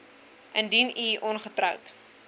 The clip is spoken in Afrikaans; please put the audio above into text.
indien u ongetroud